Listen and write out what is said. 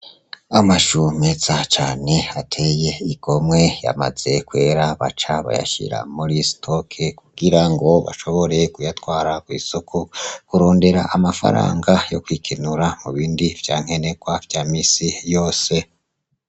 Amashumeza cane ateye igomwe yamaze kwera baca bayashira muri stoke kugira ngo bashoboreye kuyatwara kw'isoko kurondera amafaranga yo kwikinura mu bindi vyankenekwa vya misi yose.